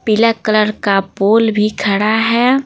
पीला कलर का पोल भी खड़ा है।